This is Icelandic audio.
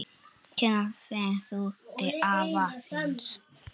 Hvenær ferðu til afa þíns?